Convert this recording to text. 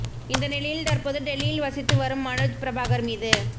இந்த நிலையில் தற்போது டெல்லியில் வசித்து வரும் மனோஜ் பிரபாகர் மீது